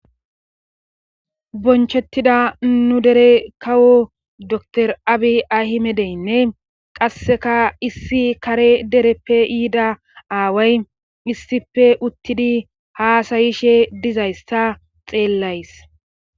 bonchettida nu dere kawo dr abi ahi medeynne qasseka issi kare dereppe yiida aaway issife uttidi haasayishe dizayssa xeellays